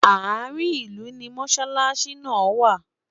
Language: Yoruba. àárín ilú ní mosalasi nà wà